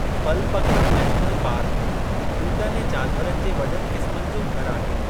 Balpakram national पार्कु ॿूटनि ऐं जानवरनि जे वॾनि क़िस्मनि जो घरु आहे।